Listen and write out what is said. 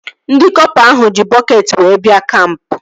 Ndị kọpa ahụ ji bọketị wee bịa kampụ